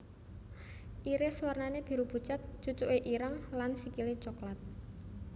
Iris warnané biru pucet cucuké ireng lan sikilé coklat